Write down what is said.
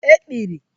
ekpiri